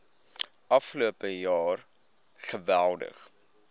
afgelope jaar geweldig